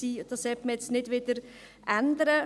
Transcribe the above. Dies sollte man nicht wieder ändern.